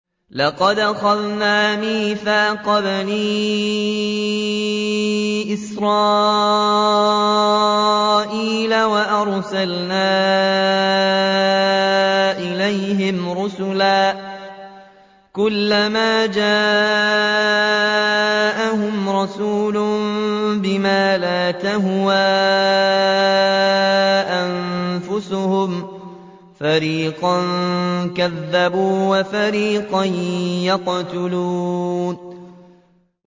لَقَدْ أَخَذْنَا مِيثَاقَ بَنِي إِسْرَائِيلَ وَأَرْسَلْنَا إِلَيْهِمْ رُسُلًا ۖ كُلَّمَا جَاءَهُمْ رَسُولٌ بِمَا لَا تَهْوَىٰ أَنفُسُهُمْ فَرِيقًا كَذَّبُوا وَفَرِيقًا يَقْتُلُونَ